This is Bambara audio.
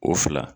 O fila